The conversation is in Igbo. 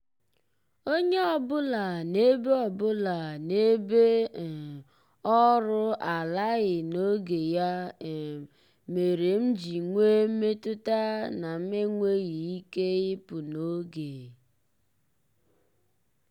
onye ọbụla n'ebe ọbụla n'ebe um ọrụ alaghị n'oge ya um mere m ji nwee mmetụta na m enweghị ike ịpụ n'oge.